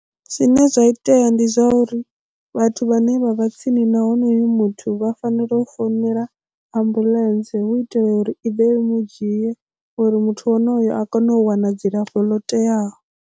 Zwine zwa itea ndi zwauri vhathu vhane vha vha tsini na honoyo muthu vha fanela u founela ambuḽentse hu itela uri i ḓe i mu dzhie uri muthu wonoyo a kone u wana dzilafho lo teaho.